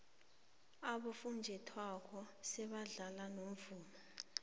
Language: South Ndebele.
abofunjathwako sebadlala nomvumo